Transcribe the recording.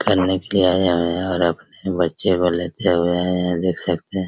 निकालने के लिए आया है और अपने बच्चे को लेते हुए आए हैं देख सकते है ।